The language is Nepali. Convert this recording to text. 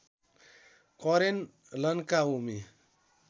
करेन लन्काउमी